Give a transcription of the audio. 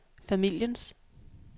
familiens